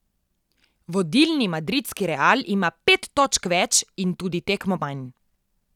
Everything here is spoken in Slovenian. Vodilni madridski Real ima pet točk več in tudi tekmo manj.